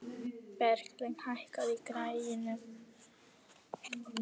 Berglín, lækkaðu í græjunum.